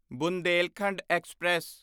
Bundelkhand express